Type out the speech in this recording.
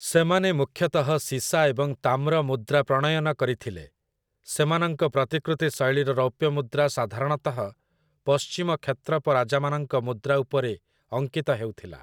ସେମାନେ ମୁଖ୍ୟତଃ ସୀସା ଏବଂ ତାମ୍ର ମୁଦ୍ରା ପ୍ରଣୟନ କରିଥିଲେ; ସେମାନଙ୍କ ପ୍ରତିକୃତି ଶୈଳୀର ରୌପ୍ୟ ମୁଦ୍ରା ସାଧାରଣତଃ ପଶ୍ଚିମ କ୍ଷତ୍ରପ ରାଜାମାନଙ୍କ ମୁଦ୍ରା ଉପରେ ଅଙ୍କିତ ହେଉଥିଲା ।